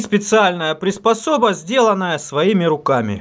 специальная приспособа сделанная своими руками